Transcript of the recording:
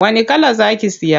Wani kala za ki siya?